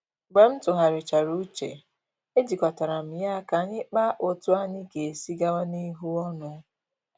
Mgbe m tụgharichara uche, e jikọtara m ya ka anyi kpaa otú anyị ga-esi gawa n’ihu ọnụ